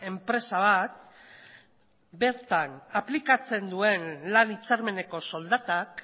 enpresa bat bertan aplikatzen duen lan hitzarmeneko soldatak